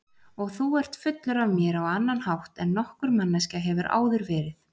Og þú ert fullur af mér á annan hátt en nokkur manneskja hefur áður verið.